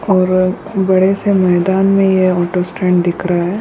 और-और बड़े सा मैदान में ये ऑटो स्टैंड दिख रहा है।